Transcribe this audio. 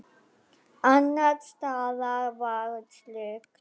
Annars staðar var slökkt.